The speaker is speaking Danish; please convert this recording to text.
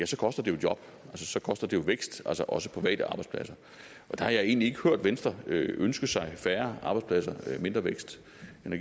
så koster det jo job så koster det jo vækst også private arbejdspladser og der har jeg egentlig ikke hørt venstre ønske sig færre arbejdspladser og mindre vækst